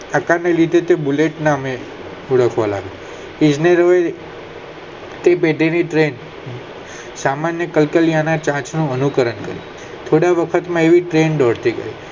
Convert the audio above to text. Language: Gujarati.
બુલેટ ના નામે ઓળખાવા લાગી તે હવે તે દીધેલી ટ્રેન સામાન્ય ના કલ્કાલિયા નું ચાંચ નું અનુકરણ કરિયું થોડા વખત માં એ ટ્રેન બનતી ગય